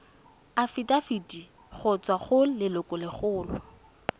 afitafiti go tswa go lelokolegolo